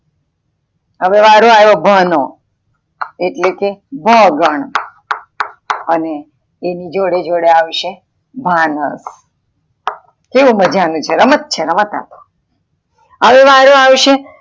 હવે વારો આવ્યો ભ નો, એટલે કે ભ ગણ અને એની જોડે જોડે આવશે ભાન કેવું મજાનું છે રમત છે આ રમત હવે વારો આવશે.